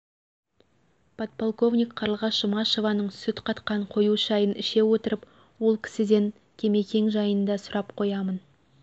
подполковник қарлығаш жұмашеваның сүт қатқан қою шайын іше отырып ол кісіден кемкең жайында сұрап қоямын